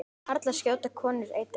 Karlar skjóta, konur eitra.